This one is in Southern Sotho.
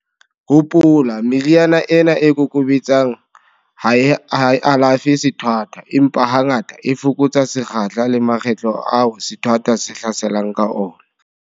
Hopola, meriana ena e kokobetsang ha e alafe sethwathwa, empa hangata, e fokotsa sekgahla le makgetlo ao sethwathwa se hlaselang ka ona.